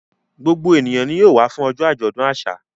Gbogbo ènìyàn ni yóò wá fún ọjọ́ àjọ̀dún àṣà.